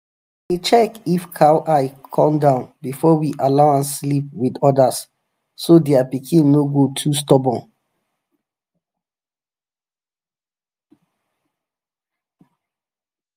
we dey check if cow eye come down before we allow am sleep with others so their pikin no go too stubborn.